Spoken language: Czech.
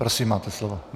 Prosím, máte slovo.